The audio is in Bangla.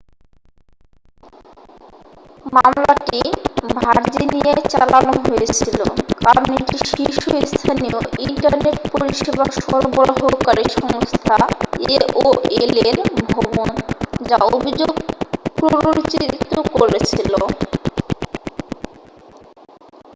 মামলাটি ভার্জিনিয়ায় চালানো হয়েছিল কারণ এটি শীর্ষস্থানীয় ইন্টারনেট পরিষেবা সরবরাহকারী সংস্থা aol এর ভবন যা অভিযোগ প্ররোচিত করেছিল